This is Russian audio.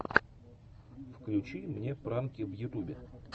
включи мне пранки в ютьюбе